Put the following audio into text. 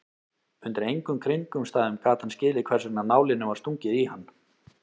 Undir engum kringumstæðum gat hann skilið hversvegna nálinni var stungið í hann.